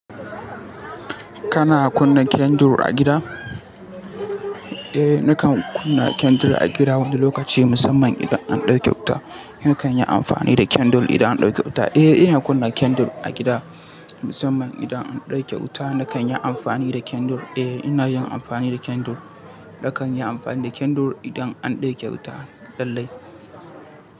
Kana kunna kendir a gida? Eh, nakan kunna kendir a gida wani lokaci musamman idan an ɗauke wuta. Nakan yi amfani da kendir idan an ɗauke wuta. Eh, ina kunna kendir a gida musamman idan an ɗauke wuta. Nakan yi amfani da kendir. Eh ina yin amfani da kendir. Nakan yi amfani da kindle idan an ɗauke wuta lallai.